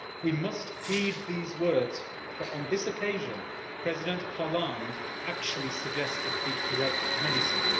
We must heed these words for, on this occasion, President Hollande actually suggested the correct medicine.